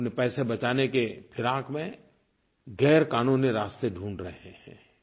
वो अपने पैसे बचाने के फ़िराक़ में गैरक़ानूनी रास्ते ढूंढ़ रहे हैं